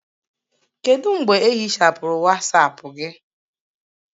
Kedu mgbe ehichapụrụ Wasapu gị?